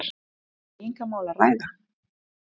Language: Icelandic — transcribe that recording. Er um beygingarmál að ræða?